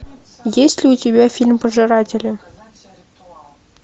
есть ли у тебя фильм пожиратели